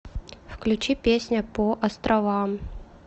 включи песня по островам